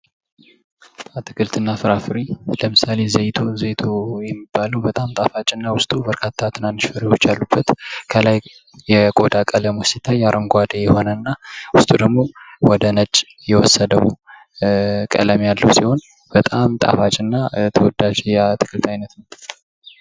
አትክልት እና ፍራፍሬ ለምሳሌ ዘይቱ የሚባለዉ በጣም ጣፋጭ እና ዉስጡ በርካታ ትናንሽ ፍሬዎች ከላይ የቆዳ ቀለሙ ሲታይ አረንጓዴ የመሰለና ዉስጡ ወደ ነጭ የወሰደዉ በጣም ጣፋጭ የአትክልት አይነት ነዉ።